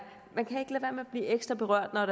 meget meget